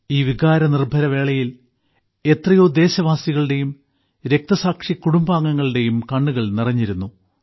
ഈ വികാരനിർഭരവേളയിൽ എത്രയോ ദേശവാസികളുടെയും രക്തസാക്ഷി കുടുംബാംഗങ്ങളുടെയും കണ്ണുകൾ നിറഞ്ഞിരുന്നു